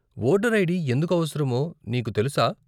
Voter ID ఎందుకు అవసరమో నీకు తెలుసా?